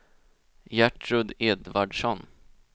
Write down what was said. Gertrud Edvardsson